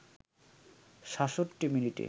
৬৭ মিনিটে